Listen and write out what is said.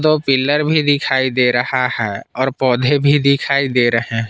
दो पिलर भी दिखाई दे रहा है और पौधे भी दिखाई दे रहे हैं।